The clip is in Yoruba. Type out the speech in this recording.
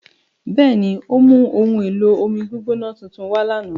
Bẹẹni, o mu ohun-elo-ọmi-gbigbọnà tuntun kan wà lána.